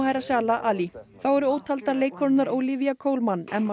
Mahershala ali þá eru ótaldar leikkonurnar Olivia Coleman Emma